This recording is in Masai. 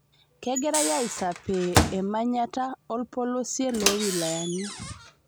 Kegirai aisapee emanyata olpolosie lo wilayani